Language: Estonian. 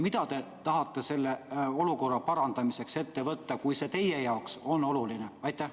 Mida te tahate selle olukorra parandamiseks ette võtta, kui see teema on teie jaoks oluline?